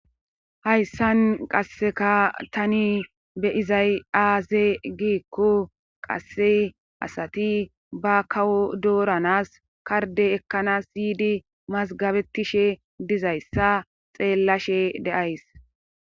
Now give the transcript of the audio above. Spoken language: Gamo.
hayssan qasseka tani be7izay aaze giikko qasse asati ba kawo dooranas karde ekkanas yiidi mazgabetishe dizayssa xeellashe de7ays